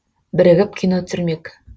бірігіп кино түсірмек